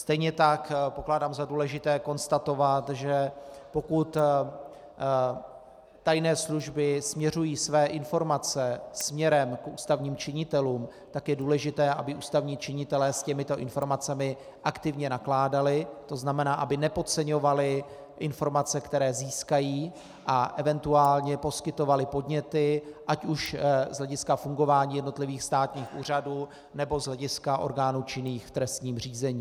Stejně tak pokládám za důležité konstatovat, že pokud tajné služby směřují své informace směrem k ústavním činitelům, tak je důležité, aby ústavní činitelé s těmito informacemi aktivně nakládali, to znamená, aby nepodceňovali informace, které získají, a eventuálně poskytovali podněty ať už z hlediska fungování jednotlivých státních úřadů, nebo z hlediska orgánů činných v trestním řízení.